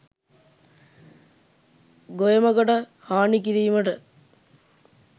ගොයමකට හානි කිරීමට